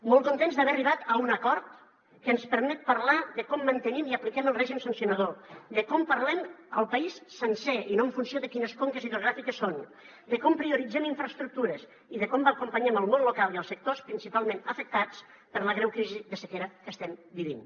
molt contents d’haver arribat a un acord que ens permet parlar de com mantenim i apliquem el règim sancionador de com parlem al país sencer i no en funció de quines conques hidrogràfiques són de com prioritzem infraestructures i de com acompanyem el món local i els sectors principalment afectats per la greu crisi de sequera que estem vivint